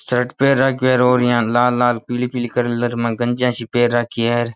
Shirt पेहेन राखी है लाल लाल पीली पीली से कलर में गंजिया सी पेहेन राखी है।